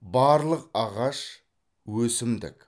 барлық ағаш өсімдік